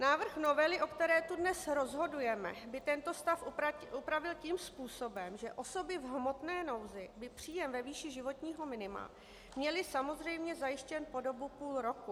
Návrh novely, o které tu dnes rozhodujeme, by tento stav upravil tím způsobem, že osoby v hmotné nouzi by příjem ve výši životního minima měly samozřejmě zajištěn po dobu půl roku.